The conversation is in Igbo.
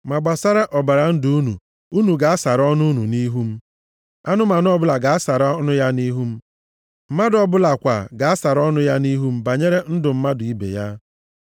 Ma gbasara ọbara ndụ unu, unu ga-asara ọnụ unu nʼihu m. Anụmanụ ọbụla ga-asara ọnụ ya nʼihu m. Mmadụ ọbụla kwa ga-asara ọnụ ya nʼihu m banyere ndụ mmadụ ibe ya.